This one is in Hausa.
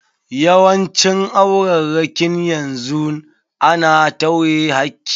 Yawancin aurarrakin yanzu a na tawye hakki.